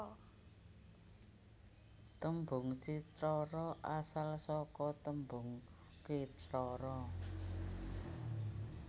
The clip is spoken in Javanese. Tembung cithara asal saka tembung kithara